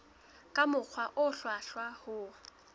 ka mokgwa o hlwahlwa ho